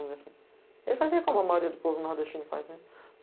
Ele fazia como a maioria do povo do nordestino fazia.